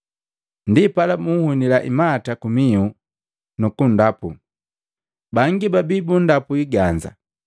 Ndipala buhunila imata kumihu, nukundapu. Bangi babiya bundapu iganza